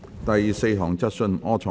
第四項質詢。